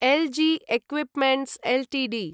algae equipments Ltd